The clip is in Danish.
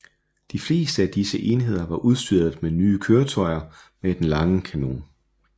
De fleste af disse sidste enheder var udstyret med nye køretøjer med den lange kanon